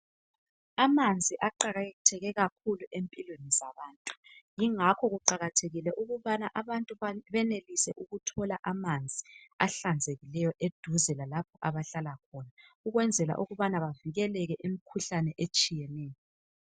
Amanzi aqakatheke kakhulu empilweni zabantu yingakho kuqakathekile ukubana abantu benelise ukuthola amanzi ahlanzekileyo eduze lalapho abahlala khona ukwenzela ukuthi bavikeleke kumikhuhlane etshiyeneyo.